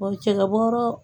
cɛkɛbɔrɔ.